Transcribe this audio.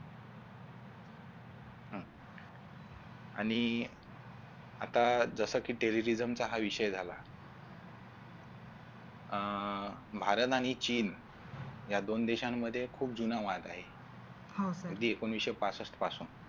आणि आता जसं की Terry Reason चा हा विषय झाला अह भारत आणि चीन या दोन देशांमध्ये खूप जुना वाद आहे म्हणजे एकोणविशे पासष्ट पासून